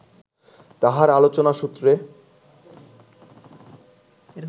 তাঁহার আলোচনা সূত্রে